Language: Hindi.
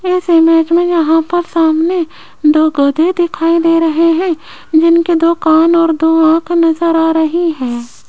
इस इमेज में यहां पर सामने दो गधे दिखाई दे रहे हैं जिनके दो कान और दो आंख नजर आ रही है।